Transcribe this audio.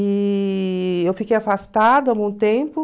E eu fiquei afastada algum tempo.